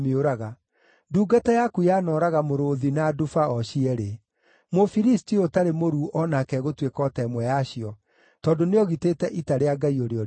Ndungata yaku yanooraga mũrũũthi na nduba o cierĩ; Mũfilisti ũyũ ũtarĩ mũruu o nake egũtuĩka o ta ĩmwe yacio, tondũ nĩogitĩte ita rĩa Ngai ũrĩa ũrĩ muoyo.